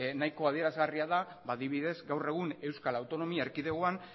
nahiko adierazgarria da adibidez gaur egun euskal autonomia erkidegoan